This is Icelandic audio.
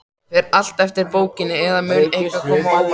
Fer allt eftir bókinni, eða mun eitthvað koma á óvart?